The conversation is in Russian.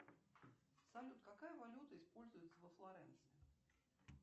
салют какая валюта используется во флоренции